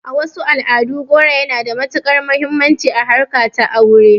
A wasu al'adun, goro yana da matuƙar muhimmanci a harkar ta aure